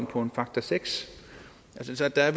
på faktor seks så der er